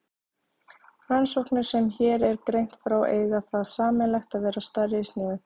Rannsóknirnar sem hér er greint frá eiga það sameiginlegt að vera stærri í sniðum.